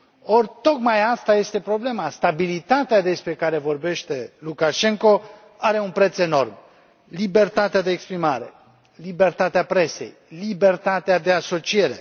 Or, tocmai asta este problema stabilitatea despre care vorbește Lukașenko are un preț enorm libertatea de exprimare, libertatea presei, libertatea de asociere.